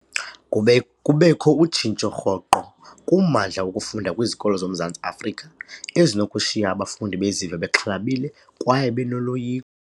Kube kubekho utshintsho rhoqo kummandla wokufunda kwizikolo zoMzantsi Afrika, ezinokushiya abafundi beziva bexhalabile kwaye benoloyi.